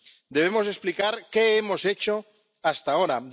Debemos explicar qué hemos hecho hasta ahora.